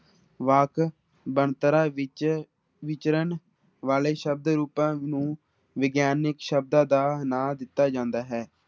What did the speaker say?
ਵਾਕ ਬਣਤਰਾਂ ਵਿੱਚ ਵਿਚਰਨ ਵਾਲੇ ਸ਼ਬਦ ਰੂਪਾਂ ਨੂੰ ਵਿਗਿਆਨਕ ਸ਼ਬਦਾਂ ਦਾ ਨਾਂ ਦਿੱਤਾ ਜਾਂਦਾ ਹੈ।